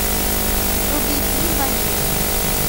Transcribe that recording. вруби фильм в америке